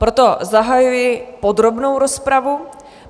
Proto zahajuji podrobnou rozpravu.